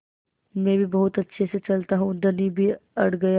मैं भी बहुत अच्छे से चलता हूँ धनी भी अड़ गया